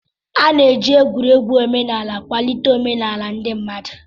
A ga-eji egwuregwu omenala kwalite omenala ndị mmadụ.